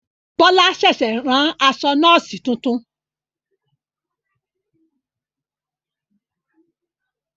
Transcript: Bọlá ṣẹ̀ṣẹ̀ rán aṣọ Nọ́ọ̀sì titun